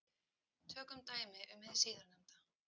Tökum dæmi um hið síðarnefnda.